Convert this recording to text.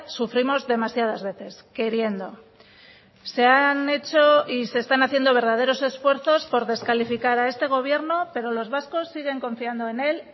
sufrimos demasiadas veces queriendo se han hecho y se están haciendo verdaderos esfuerzos por descalificar a este gobierno pero los vascos siguen confiando en él